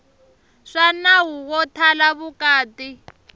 swa nawu wo thala vukati